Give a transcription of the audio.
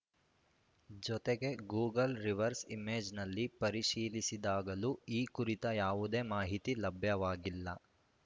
ಜೊತೆಗೆ Google reverse ಇಮೇಜ್‌ನಲ್ಲಿ ಪರಿಶೀಲಿಸಿದಾಗಲೂ ಈ ಕುರಿತ ಯಾವುದೇ ಮಾಹಿತಿ ಲಭ್ಯವಾಗಿಲ್ಲ